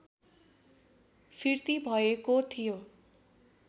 फिर्ती भएको थियो